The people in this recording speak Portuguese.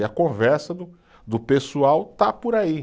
E a conversa do do pessoal está por aí.